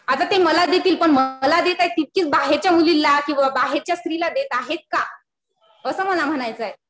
आता ते मला देतील. पण देत आहेत तितकीच बाहेरच्या मुलीला किंवा बाहेरच्या स्त्रीला देत आहेत का? असं मला म्हणायचंय.